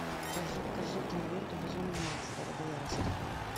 покажи киноленту безумный макс дорога ярости